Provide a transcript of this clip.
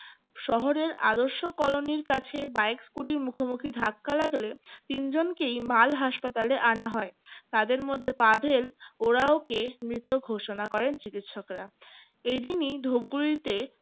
শহরের আদর্শ কলোনির কাছে bike scooty র মুখোমুখি ধাক্কা লাগলে তিনজনকেই মাল হাসপাতালে আনা হয় তাদের মধ্যে পাভেল ওরাও কে মৃত ঘোষণা করেন চিকিৎসকরা এইদিনেই ধুপগুড়িতে